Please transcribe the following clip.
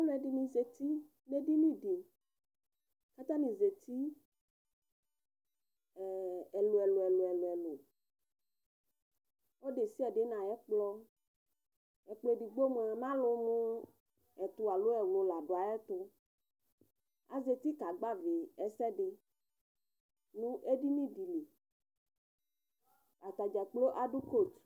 ɑluedini zati nedinidi kɑtanizati ɛluɛluɛluɛ ɔludesiade nɑyekplo ɛkplo ɛdigboi mu ɑlumu ɛtu ɑlo ɛwlu la duayava ɑzati kɑgbavi ɛsɛdi nuɛdinidili ɑtadzɑkplo ɑdukot